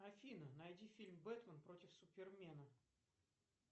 афина найди фильм бэтмен против супермена